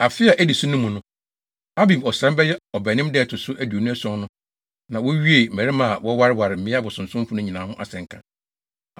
Afe a edi so no mu, Abib ɔsram (bɛyɛ Ɔbɛnem) da a ɛto so aduonu ason no na wɔawie mmarima a wɔawareware mmea abosonsomfo no nyinaa ho asɛnka.